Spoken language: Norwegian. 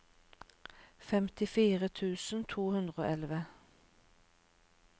femtifire tusen to hundre og elleve